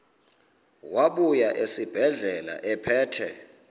wabuya esibedlela ephethe